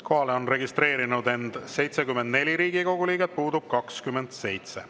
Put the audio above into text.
Kohalolijaks on registreerunud 74 Riigikogu liiget, puudub 27.